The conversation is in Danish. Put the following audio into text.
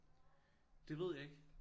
Det ved jeg ikke